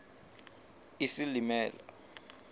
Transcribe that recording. isilimela